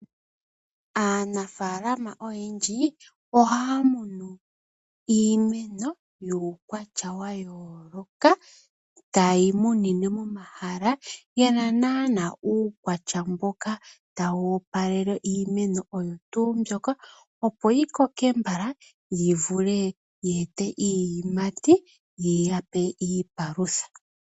Aanafaalama oyendji, ohaa kunu iimeno yomaukwatya ga yooloka, taye yi kunu momahala, ye na naanaa uukwatya mboka tawu opalele iimeno oyo tuu mbyoka, opo yi koke mbala, yi vule yiya pe iiyimati yokwiipalutha.